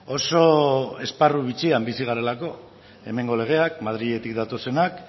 oso esparru bitxian bizi garelako hemengo legeak madriletik datozenak